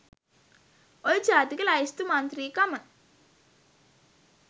ඔය ජාතික ලැයිස්තු මංත්‍රීකම